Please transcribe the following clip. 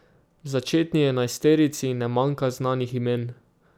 V začetni enajsterici ne manjka znanih imen.